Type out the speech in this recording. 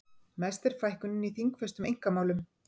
Mest er fækkunin í þingfestum einkamálum